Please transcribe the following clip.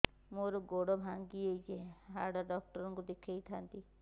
ମୋର ଗୋଡ ଭାଙ୍ଗି ଯାଇଛି ହାଡ ଡକ୍ଟର ଙ୍କୁ ଦେଖେଇ ଥାନ୍ତି